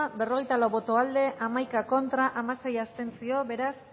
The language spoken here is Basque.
berrogeita lau boto aldekoa hamaika contra dieciséis